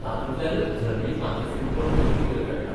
तातूंतल्यानच धर्मीक माथेफिरूपण तकली वयर काडटा.